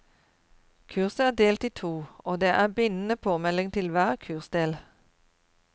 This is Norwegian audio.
Kurset er delt i to, og det er bindende påmelding til hver kursdel.